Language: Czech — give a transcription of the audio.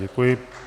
Děkuji.